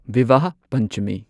ꯚꯤꯚꯥꯍ ꯄꯟꯆꯃꯤ